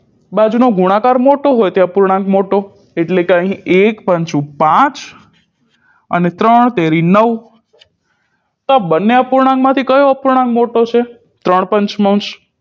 બાજુનો ગુણાકાર મોટો હોય તે અપૂર્ણાંક મોટો એટલે કે અહી એક પાંચું પાંચ અને ત્રણ તેરી નવ તો આ બંને અપૂર્ણાંક માંથી કયો અપૂર્ણાંક મોટો છે ત્રણ